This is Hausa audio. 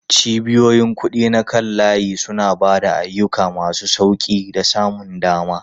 Cibiyoyin kuɗi na kan layi suna ba da ayyuka masu sauƙi da samun dama.